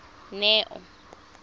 neo